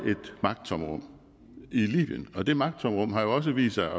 magttomrum i libyen og det magttomrum har også vist sig